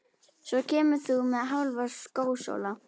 Svo kemur þú með Hálfa skósóla.